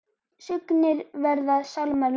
Sungnir verða sálmar Lúters.